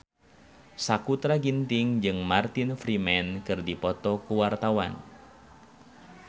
Sakutra Ginting jeung Martin Freeman keur dipoto ku wartawan